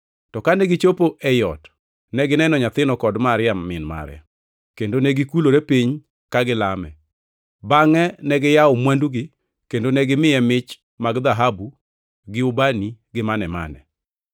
To kane gichopo ei ot, negineno nyathino kod Maria min mare, kendo negikulore piny ka gilame. Bangʼe ne giyawo mwandugi kendo negimiye mich mag dhahabu, gi ubani gi mane-mane.